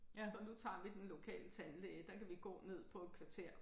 Så nu tager vi den lokale tandlæge der kan vi gå ned på et kvarter